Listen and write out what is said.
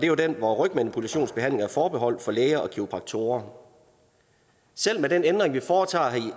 jo den hvor rygmanipulationsbehandling er forbeholdt læger og kiropraktorer selv med den ændring vi foretager